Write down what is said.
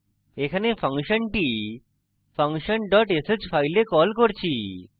এখানে ফাংশনটি function dot sh file call করছি